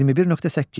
21.8.